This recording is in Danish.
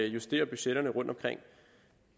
justere budgetterne rundtomkring